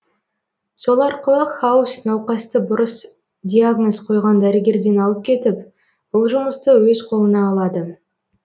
сол арқылы хаус науқасты бұрыс диагноз қойған дәрігерден алып кетіп бұл жұмысты өз қолына алады